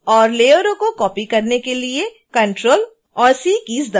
और लेयरों को कॉपी करने के लिए ctrl और c कीज़ दबाएँ